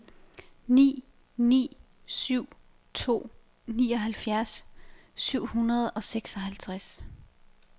ni ni syv to nioghalvfjerds syv hundrede og seksoghalvtreds